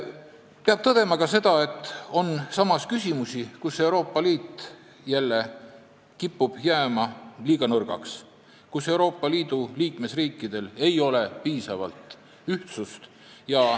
Peab tõdema ka seda, et samas on küsimusi, mille puhul Euroopa Liit kipub jälle jääma liiga nõrgaks, mille puhul liikmesriikidel ei ole piisavalt ühtsust.